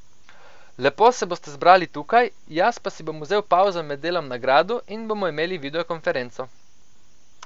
Lepo se boste zbrali tukaj, jaz pa si bom vzel pavzo med delom na gradu in bomo imeli videokonferenco.